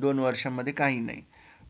दोन वर्षांमध्ये काही नाही